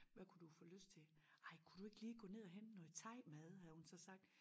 Hvad kunne du få lyst til ej kunne du ikke lige gå ned og hente noget thaimad havde hun så sagt